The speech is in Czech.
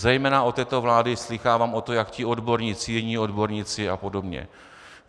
Zejména od této vlády slýchávám o tom, jak ti odborníci, jiní odborníci a podobně.